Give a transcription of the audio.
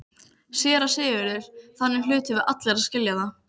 SÉRA SIGURÐUR: Þannig hlutum við allir að skilja það.